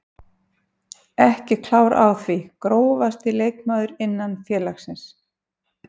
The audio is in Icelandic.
Ekki klár á því Grófasti leikmaður innan félagsins?